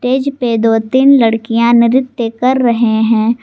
Stage पर दो तीन लड़कियां नृत्य कर रही हैं।